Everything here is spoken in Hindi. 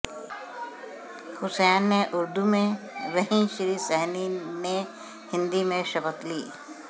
हुसैन ने उर्दू में वहीं श्री सहनी में हिंदी में शपथ ली